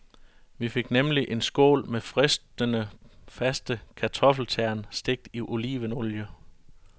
Vi fik nemlig en skål med fristende, faste kartoffeltern, stegt i olivenolie.